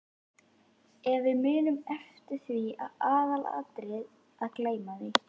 Ef við munum eftir því er aðalatriðið að gleyma því.